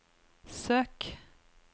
søk